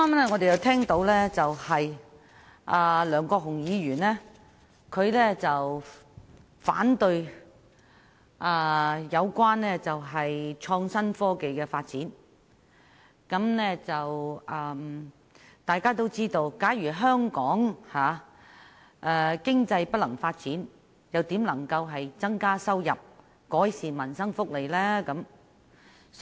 我剛才聽到梁國雄議員表示反對發展創新科技，但大家皆知道，假如香港經濟無法發展，又如何可以增加收入，改善民生福利呢？